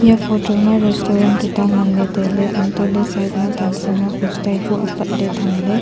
e photo ma restaurant tuta ngan ley tai ley antoh ley side ma tan sing ma poster bu apat tham ley.